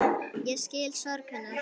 Ég skil sorg hennar.